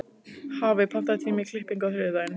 Hafey, pantaðu tíma í klippingu á þriðjudaginn.